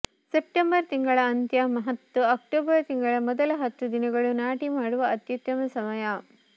September ತಿಂಗಳ ಅಂತ್ಯ ಮತ್ತು ಅಕ್ಟೋಬರ್ ತಿಂಗಳ ಮೊದಲ ಹತ್ತು ದಿನಗಳು ನಾಟಿ ಮಾಡುವ ಅತ್ಯುತ್ತಮ ಸಮಯ